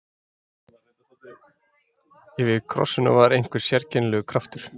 Yfir krossinum var einhver sérkennilegur kraftur.